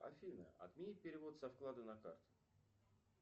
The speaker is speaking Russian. афина отмени перевод со вклада на карту